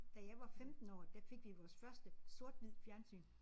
Da jeg var 15 år der fik vi vores første sort hvid fjernsyn